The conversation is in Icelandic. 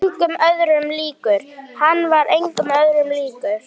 Hann var engum öðrum líkur.